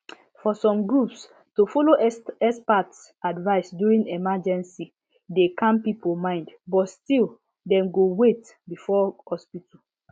for some groups to follow expert advice during emergency dey calm people mind but still dem go wait before hospital